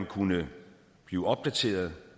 kunne blive opdateret